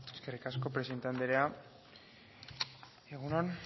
eskerrik asko presidente anderea egun on